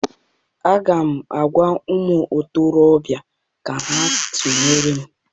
Aga m agwa ụmụ ntorobịa ka ha tụnyere m!